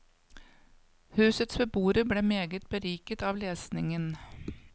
Husets beboere ble meget beriket av lesningen.